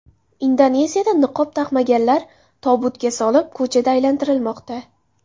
Indoneziyada niqob taqmaganlar tobutga solib, ko‘chada aylantirilmoqda.